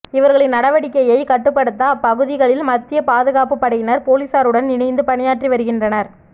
இவர்களின் நடவடிக்கையை கட்டுப்படுத்த அப்பகுதிகளில் மத்திய பாதுகாப்பு படையினர் போலீசாருடன் இணைந்து பணியாற்றி வருகின்றனர்